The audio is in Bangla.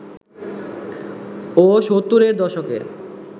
ও ৭০-এর দশকে